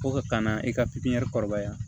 Ko ka na i ka pipiniyɛri kɔrɔbaya